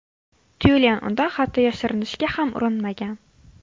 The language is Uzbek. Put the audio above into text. Tyulen undan hatto yashirinishga ham urinmagan.